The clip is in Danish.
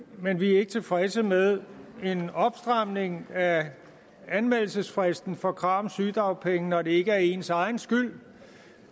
men vi er ikke tilfredse med en opstramning af anmeldelsesfristen for krav om sygedagpenge når det ikke er ens egen skyld